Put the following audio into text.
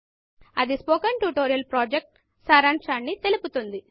అది spoken tutorial project సారాంశాన్ని తెలుపుతుంది